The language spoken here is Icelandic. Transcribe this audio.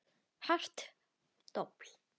Hart dobl.